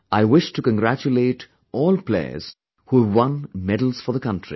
I wish to congratulate all players who have won medals for the country